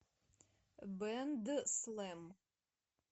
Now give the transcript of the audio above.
бэндслэм